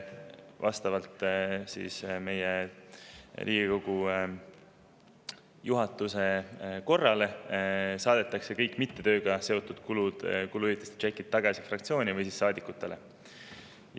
Vastavalt Riigikogu juhatuse korrale saadetakse kõik tööga mitteseotud kulude tšekid fraktsioonile või saadikule tagasi.